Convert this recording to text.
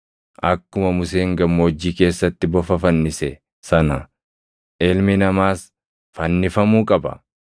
Akkuma Museen gammoojjii keessatti bofa fannise + 3:14 \+xt Lak 21:9\+xt* sana Ilmi Namaas fannifamuu qaba.